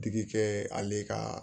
Digi kɛ ale ka